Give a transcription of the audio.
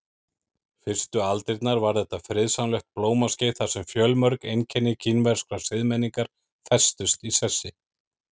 Fyrstu aldirnar var þetta friðsamlegt blómaskeið þar sem fjölmörg einkenni kínverskrar siðmenningar festust í sessi.